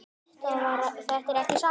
Þetta er ekki satt!